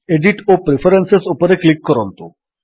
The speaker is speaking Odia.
ଏଡିଟ୍ ଓ ପ୍ରିଫରେନ୍ସେସ୍ ଉପରେ କ୍ଲିକ୍ କରନ୍ତୁ